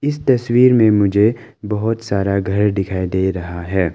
इस तस्वीर में मुझे बहुत सारा घर दिखाई दे रहा है।